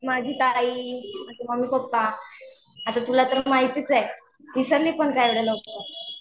माझी ताई, माझे मम्मी पप्पा, आता तुला तर माहीतच आहे विसरली पण काय गं लवकर?